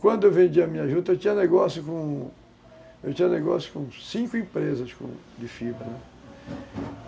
Quando eu vendia minha juta, eu tinha negócio com eu tinha negócio com cinco empresas de fibra.